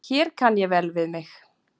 Hér kann ég vel við mig.